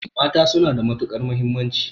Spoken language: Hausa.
Mata suna da matuƙar mahimmanci.